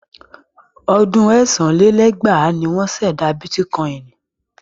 Ọdún ẹ̀sán lé lẹ́gbàá ni wọ́n ṣẹ̀dá bítíkọ́inì.